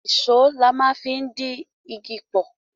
Ìṣó la máa ń fi di igi pọ̀